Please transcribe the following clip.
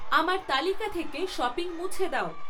আমার তালিকা থেকে শপিং মুছে দাও